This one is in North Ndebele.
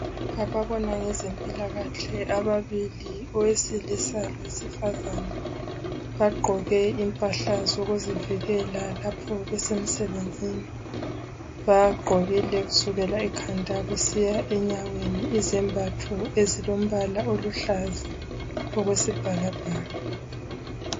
Ababona ngezempilakahle ababili , owesilisa lowesifazana bagqoke impahla zokuzivikela lapho besemsebenzini bagqokile kusukela ekhanda kusiya enyaweni izembatho ezilombala oluhlaza okwesibhakabhaka.